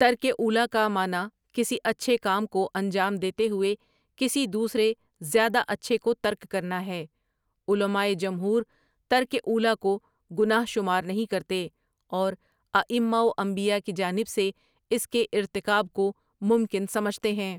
ترک اولیٰ کا معنی کسی اچھے کام کو انجام دیتے ہوئے کسی دوسرے زیادہ اچھے کو ترک کرنا ہے علمائے جمہور ترک اولیٰ کو گناہ شمار نہیں کرتے اور آئمہؑ و انبیا کی جانب سے اس کے ارتکاب کو ممکن سمجھتے ہیں ۔